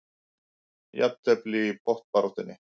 Jafntefli í botnbaráttunni